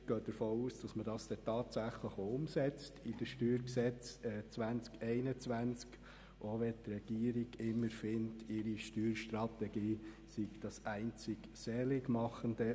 Wir gehen davon aus, dass das dann im StG 2021 tatsächlich auch umgesetzt wird, auch wenn die Regierung immer findet, ihre Steuerstrategie sei das Alleinseligmachende.